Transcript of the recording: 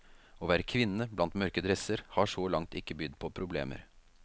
Å være kvinne, blant mørke dresser, har så langt ikke bydd på problemer.